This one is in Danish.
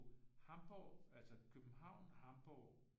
Hamborg altså København Hamborg